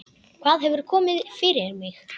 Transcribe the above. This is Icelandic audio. Hvað hefur komið fyrir mig?